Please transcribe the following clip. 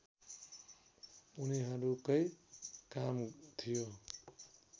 उनीहरूकै काम थियो